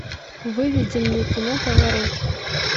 выведи мне кино поворот